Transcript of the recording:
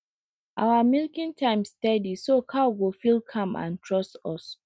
our milking time steady so cow go feel calm and trust us